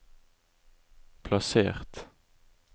plassert